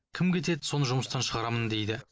кім кетеді соны жұмыстан шығарамын дейді